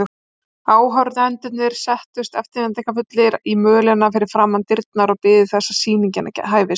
Áhorfendurnir settust eftirvæntingarfullir í mölina fyrir framan dyrnar og biðu þess að sýningin hæfist.